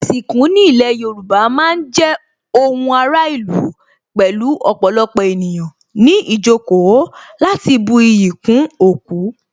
Ìsìnkú ní ilé Yorùbá má ń jẹ́ ohun ara ìlú pẹ̀lú ọ̀pọ̀lọpọ̀ ènìyàn ní ìjókòó láti bu iyì kún òkú